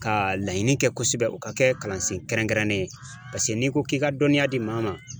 Ka laɲini kɛ kosɛbɛ o ka kɛ kalan sen kɛrɛnkɛrɛnnen ye paseke n'i ko k'i ka dɔnniya di maa ma.